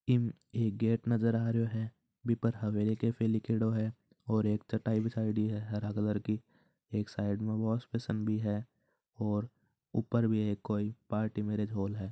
इम एक गेट नजर आ रहियो है इ पर हवेली केफे लिख्योड़ो हैं और एक चटाई बिछायोड़ी हैं हरा कलर की एक साईड में वोशबेशीन भी है और ऊपर भी कोई पार्टी मैरिज होल हैं।